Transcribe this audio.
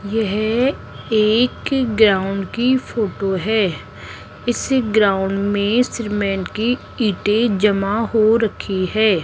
यह एक ग्राउंड की फोटो है इस ग्राउंड में सीमेंट की ईंटे जमा हो रखी है।